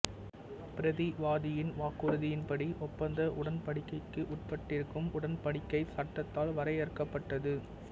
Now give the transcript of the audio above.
பிரதிவாதியின் வாக்குறுதியின்படி ஒப்பந்த உடன்படிக்கைக்கு உட்பட்டிருக்கும் உடன்படிக்கை சட்டத்தால் வரையறுக்கப்பட்டது